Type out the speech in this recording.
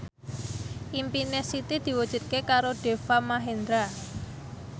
impine Siti diwujudke karo Deva Mahendra